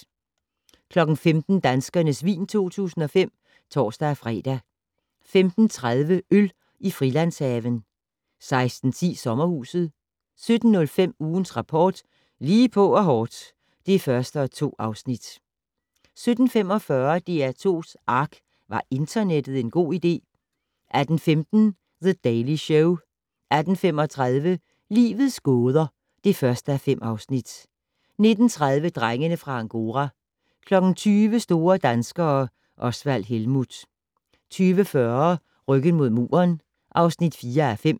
15:00: Danskernes vin 2005 (tor-fre) 15:30: Øl i Frilandshaven 16:10: Sommerhuset 17:05: Ugens Rapport: Lige på og hårdt (1:2) 17:45: DR2's ARK - Var internettet en god idé? 18:15: The Daily Show 18:35: Livets gåder (1:5) 19:30: Drengene fra Angora 20:00: Store danskere - Osvald Helmuth 20:40: Ryggen mod muren (4:5)